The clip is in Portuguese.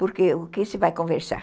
Porque o que se vai conversar?